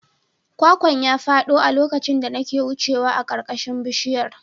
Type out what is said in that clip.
Kwakwan ya fado a lokacin da nake wucewa a ƙarƙashin bishiyar.